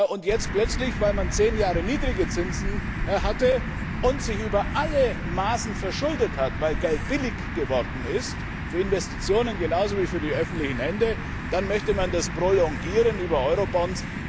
Und jetzt plötzlich, weil man zehn Jahre niedrige Zinsen hatte und sich über alle Maßen verschuldet hat, weil Geld billig geworden ist für Investitionen genauso wie für die öffentlichen Hände möchte man das prolongieren über Eurobonds.